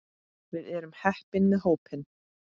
Við erum heppin með hópinn.